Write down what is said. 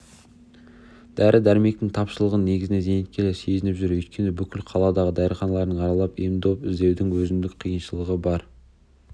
дәрі-дәрмектің тапшылығын негізінен зейнеткерлер сезініп жүр өйткені бүкіл қаладағы дәріханаларды аралап ем-дом іздеудің өзіндік қиыншылығы бар